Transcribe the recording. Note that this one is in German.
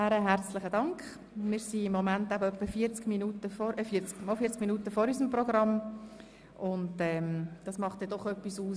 Wir haben im Moment etwa 40 Minuten Vorsprung gegenüber unserem Programm, und das macht natürlich etwas aus.